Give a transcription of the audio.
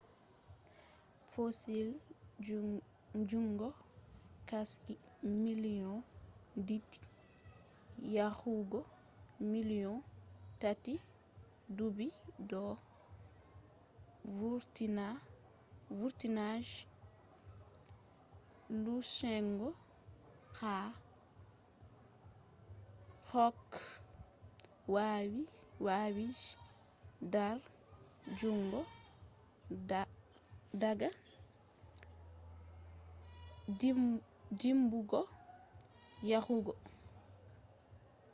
fossil jungo qashi million did yahugo million tati dubi do vurtina je lusungo ha koh wawi je dar jungo daga dimbugo yahugo manipulation